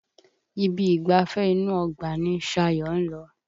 Ibi ìgbafẹ́ inú ọgbà ni Ṣayọ̀ ń lọ